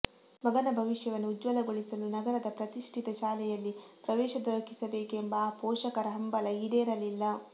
ಮಗನ ಭವಿಷ್ಯವನ್ನು ಉಜ್ವಲಗೊಳಿಸಲು ನಗರದ ಪ್ರತಿಷ್ಠಿತ ಶಾಲೆಯಲ್ಲಿ ಪ್ರವೇಶ ದೊರಕಿಸಬೇಕೆಂಬ ಆ ಪೋಷಕರ ಹಂಬಲ ಈಡೇರಲಿಲ್ಲ